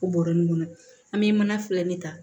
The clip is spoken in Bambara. O bɔrɛ kɔnɔ an bɛ mana filɛ nin ta